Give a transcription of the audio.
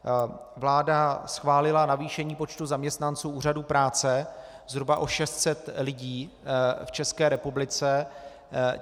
Vláda schválila navýšení počtu zaměstnanců úřadů práce zhruba o 600 lidí v České republice.